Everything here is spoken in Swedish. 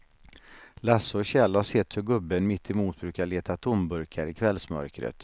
Lasse och Kjell har sett hur gubben mittemot brukar leta tomburkar i kvällsmörkret.